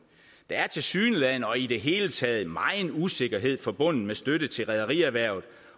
der er tilsyneladende og i det hele taget megen usikkerhed forbundet med støtte til rederierhvervet